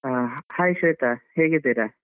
ಆ Hai ಶ್ವೇತಾ, ಹೇಗಿದ್ದೀರಾ?